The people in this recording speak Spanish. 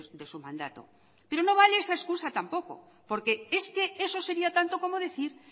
de su mandato pero no vale esa escusa tampoco porque es que eso sería tanto como decir